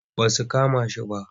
Ba su kama shi ba.